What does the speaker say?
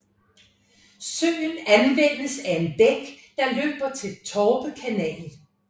Søen afvandes af en bæk der løber til Torpe Kanal